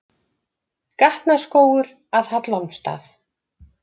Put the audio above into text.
Gatnaskógur að Hallormsstað.